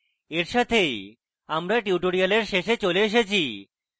এর সাথেই আমরা tutorial শেষে চলে এসেছি